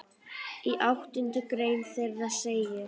Í áttundu grein þeirra segir